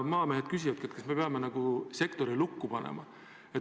Maamehed küsivad, kas me peame sektori lukku panema.